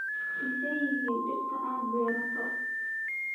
Maxay yihiin dhirta aad beerato?